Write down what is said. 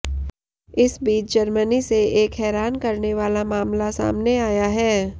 इस बीच जर्मनी से एक हैरान करने वाला मामला सामने आया है